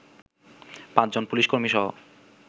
পাঁচজন পুলিশ কর্মীসহ